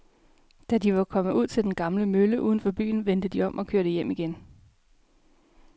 Da de var kommet ud til den gamle mølle uden for byen, vendte de om og kørte hjem igen.